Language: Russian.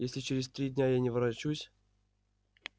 если через три дня я не ворочусь